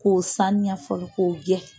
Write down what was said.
K'o sanuya fɔlɔ, ko gɛ